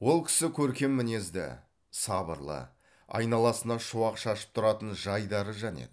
ол кісі көркем мінезді сабырлы айналасына шуақ шашып тұратын жайдары жан еді